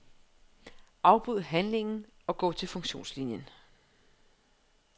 Afbryd handlingen og gå til funktionslinien.